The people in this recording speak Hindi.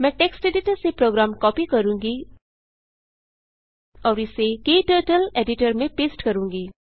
मैं टेक्स्ट एडिटर से प्रोग्राम कॉपी करूँगी और इसे क्टर्टल एडिटर में पेस्ट करूँगी